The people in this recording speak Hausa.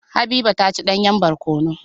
Habiba ta ci danyen barkono.